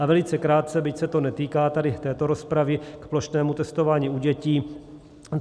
A velice krátce, byť se to netýká tady této rozpravy, k plošnému testování u dětí.